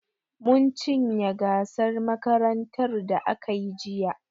Mun cinye gasar makarantar da aka yi jiya.